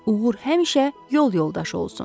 Uğur həmişə yol yoldaşı olsun.